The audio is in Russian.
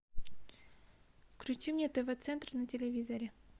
включи мне тв центр на телевизоре